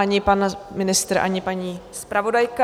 Ani pan ministr, ani paní zpravodajka.